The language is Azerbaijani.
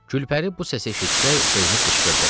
Gülpəri bu səsi eşitcək sevinib qışqırdı.